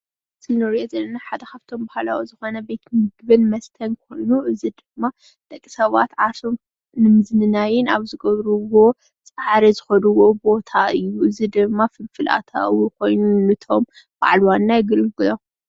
እዚ ንሪኦ ዘለና ሓደ ካብቶም ባህላዊ ዝኮነ ቤት ምግብን መስተን ኮይኑ እዚ ድማ ደቂሰባት ዓርሶም ንምዝንናይን ኣብ ዝገብርዎ ጻዕሪ ዝከድዎ ቦታ እዩ። እዚ ድማ ፍልፍል ኣታዊ ኮይኑ ነቶም በዓል ዋና የገልግሎም።